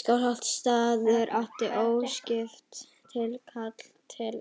Skálholtsstaður átti óskipt tilkall til